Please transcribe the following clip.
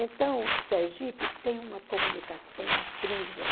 Então, Sergipe tem uma comunicação incrível.